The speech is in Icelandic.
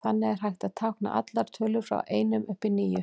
Þannig er hægt að tákna allar tölur frá einum upp í níu.